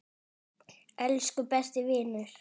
Elsku besti vinur.